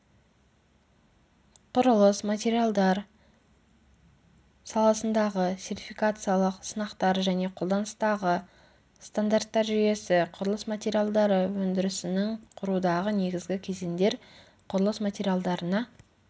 құрылыс материалдар саласындағы сертификациялық сынақтар және қолданыстағы стандарттар жүйесі құрылыс материалдары өндірісінің құрудағы негізгі кезеңдер құрылыс материалдарына